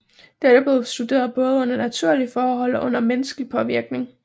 Dette bliver studeret både under naturlige forhold og under menneskelig påvirkning